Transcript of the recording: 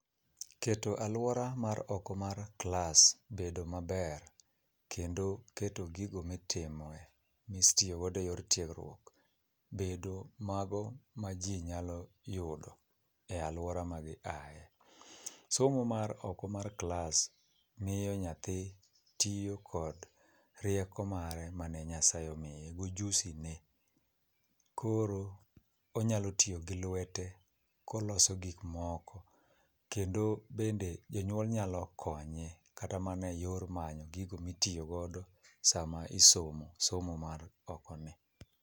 Keto alwora mar oko mar klas bedo maber kendo keto gigo mitiyogodo e yor tiegruok bedo mago ma ji nyalo yudo e alwora ma giaye. Somo mar oko mar klas miyo nyathi tiyo kod rieko mare ma ne Nyasaye omiye gojuzine koro onyalo tiyo gi lwete koloso gikmoko kendo bende jonyuol nyalo konye kata mana e yor manyo gigo mitiyogodo sama isomo somo mar okoni.